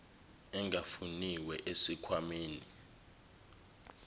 engafuniwe esikh wameni